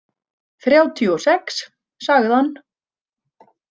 Þrjátíu og sex, sagði hann.